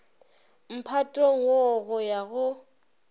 mphatong wo go ya go